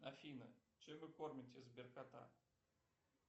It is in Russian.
афина чем вы кормите сберкота